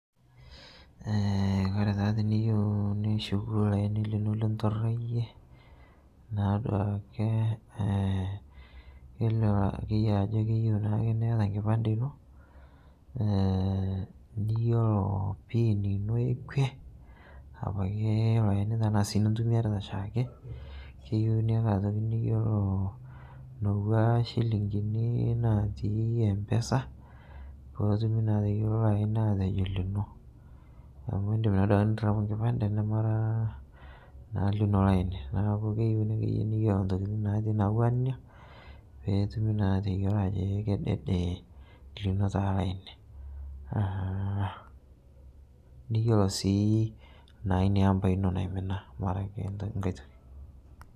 Kore taa tiniyeu nishuku laini lino linturaiye naaduake keilio akeye ajo keyeu naake niata nkipande inoo niyolo pin ino ekwe apake eilo aini tanaa sii nintumiarita shaake keyeu niata otoki niyelo nowaa shilingini natii mpesa pootumi naa ateyolo loo aini atejo lino amu indim naa duake nirapu nkipande namara naa lino laini naaku keyeu niyelo ntokitin natii natuwaa nenia peetumi naa ateyolo ajo ee kedede lino taa laini. Niyolo naa sii inia ampa ino naimina mara ake ng'ai toki.